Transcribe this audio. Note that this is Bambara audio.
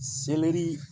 Selɛri